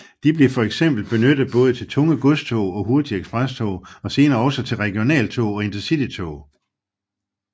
De blev for eksempel benyttet både til tunge godstog og hurtige eksprestog og senere også til regionaltog og InterCitytog